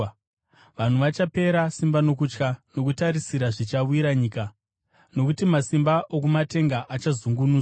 Vanhu vachapera simba nokutya, nokutarisira zvichawira nyika, nokuti masimba okumatenga achazungunuswa.